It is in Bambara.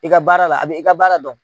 I ka baara la a bɛ i ka baara dɔn.